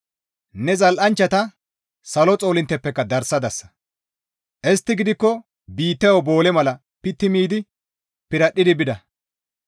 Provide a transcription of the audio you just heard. Ne zal7anchchata salo xoolinttepekka darsadasa. Istti gidikko biittayo boole mala pitti miidi piradhdhi bida.